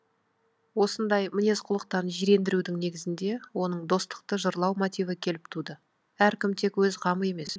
осындай мінез құлықтан жирендірудің негізінде оның достықты жырлау мотиві келіп туды әркім тек өз қамы емес жұрт мүддесін ойлауы керек деген идея туды